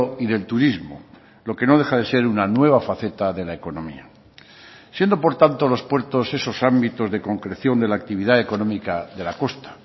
y del turismo lo que no deja de ser una nueva faceta de la economía siendo por tanto los puertos esos ámbitos de concreción de la actividad económica de la costa